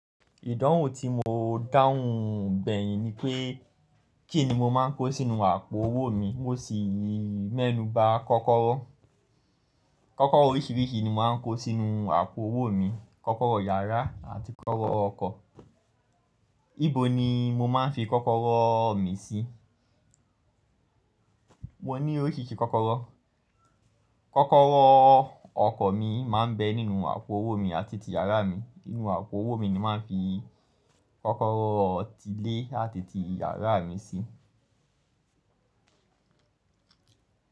Ìdánwò tí mó dàwùn gbẹ́yìn ni pé kín ní mó máa ń kó sínú àpò owó mi, mó sì mẹ́nu ba kọ́kọ́rọ́. Kọ́kọ́rọ́ oríṣìíríṣìí ni mó máa ń kó sínú àpò owó mi, kọ́kọ́rọ́ yàrá àti kọ́kọ́rọ́ ọkọ̀. Íbo ni mó máa ń fi kọ́kọ́rọ́ mi sí? Mo ní oríṣìíríṣìí kọ́kọ́rọ́. Kọ́kọ́rọ́ ọkọ̀ mi máa ń bẹ́ nínú àpò owó mi àti ti yàrá mi. Nínú àpò owó mi ni mó máa ń fi kọ́kọ́rọ́ ti ilé àti ti yàrá mi sí.